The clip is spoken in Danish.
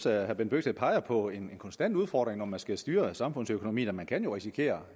at herre bent bøgsted peger på en konstant udfordring når man skal styre samfundsøkonomien og man kan jo risikere